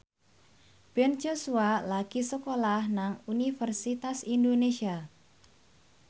Ben Joshua lagi sekolah nang Universitas Indonesia